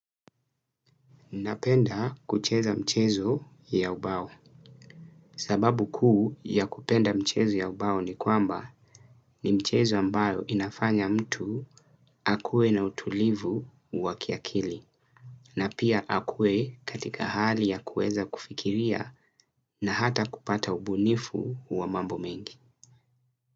Napenda kucheza mchezo ya ubao. Sababu kuu ya kupenda michezo ya ubao ni kwamba ni michezo ambayo inafanya mtu akuwe na utulivu wa kiakili. Na pia akuwe katika hali ya kuweza kufikiria na hata kupata ubunifu wa mambo mengi.